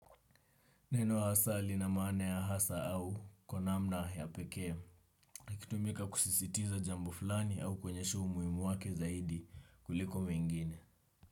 Neno hasa lina maana ya hasa au kwa namna ya pekee. Ikitumika kusisitiza jambo fulani au kuonyesha umuhimu wake zaidi kuliko wengine.